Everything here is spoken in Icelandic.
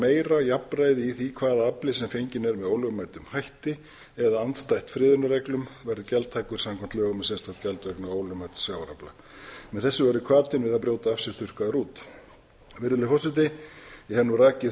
meira jafnræði í því hvaða afli sem fenginn er með ólögmætum hætti eða andstætt friðunarreglum verði gjaldtækur samkvæmt lögum um sérstakt gjald vegna ólögmæts sjávarafla með þessu verði hvatinn til að brjóta af sér þurrkaður út virðulegi forseti ég hef nú rakið